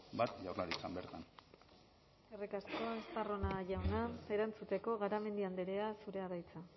bat jaurlaritzan bertan eskerrik asko estarrona jauna erantzuteko garamendi andrea zurea da hitza